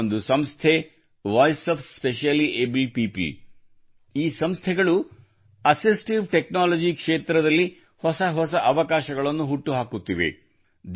ಅಂತಹ ಒಂದು ಸಂಸ್ಥೆಯೆಂದರೆ ವಾಯ್ಸ್ ಆಫ್ ಸ್ಪೆಷಲಿಯಬಲ್ಡ್ ಪೀಪಲ್ ಈ ಸಂಸ್ಥೆಗಳು ಅಸಿಸ್ಟಿವ್ ಟೆಕ್ನೋಲಜಿ ಕ್ಷೇತ್ರದಲ್ಲಿ ಹೊಸ ಹೊಸ ಅವಕಾಶಗಳನ್ನು ಹುಟ್ಟುಹಾಕುತ್ತಿದೆ